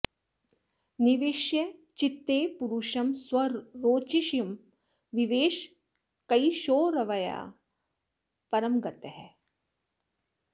निवेश्य चित्ते पुरुषं स्वरोचिषं विवेश कैशोरवयाः परं गतः